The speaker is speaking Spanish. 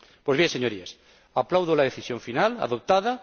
Pues bien, señorías, aplaudo la decisión final adoptada